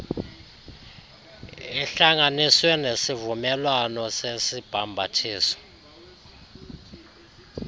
ihlanganiswe nesivumelwano sesibhambathiso